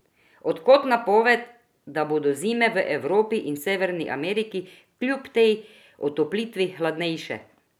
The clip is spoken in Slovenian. A od kod napoved, da bodo zime v Evropi in Severni Ameriki kljub tej otoplitvi hladnejše?